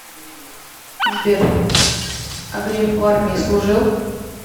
сбер а греф в армии служил